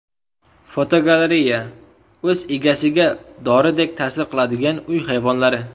Fotogalereya: O‘z egasiga doridek ta’sir qiladigan uy hayvonlari.